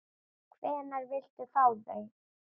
Hvenær viltu fá þau?